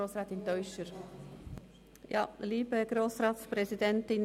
Grossrätin Teuscher hat das Wort.